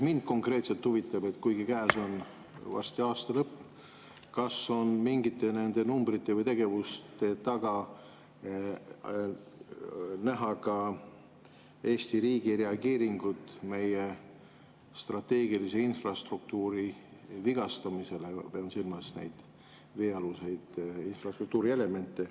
Mind konkreetselt huvitab, kuna varsti on käes aasta lõpp, kas on mingite nende numbrite või tegevuste taga näha ka Eesti riigi reageeringut meie strateegilise infrastruktuuri vigastamisele, pean silmas neid veealuseid infrastruktuurielemente.